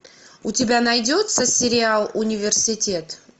у тебя найдется сериал университет